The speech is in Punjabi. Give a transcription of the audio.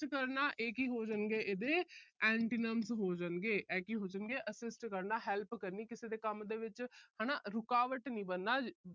assist ਕਰਨਾ। ਇਹ ਕੀ ਹੋ ਜਾਣਗੇ, ਇਹਦੇ antonyms ਹੋ ਜਾਣਗੇ। ਇਹ ਕੀ assist ਕਰਨਾ, help ਕਰਨੀ ਕਿਸੇ ਦੇ ਕੰਮ ਵਿੱਚ। ਹਨਾ ਰੁਕਾਵਟ ਨਹੀਂ ਬਣਨਾ।